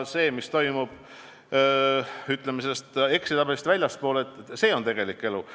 See, mis toimub Exceli tabelist väljaspool, on tegelik elu.